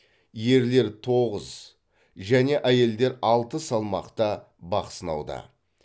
ерлер тоғыз және әйелдер алты салмақта бақ сынауда